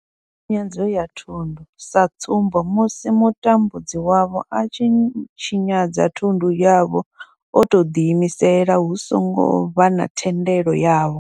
Tshinyadzo ya thundu sa tsumbo, musi mutambudzi wavho a tshi tshinyadza thundu yavho o tou ḓi imisela hu songo vha na thendelo yavho.